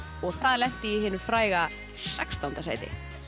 og það lenti í hinu fræga sextánda sæti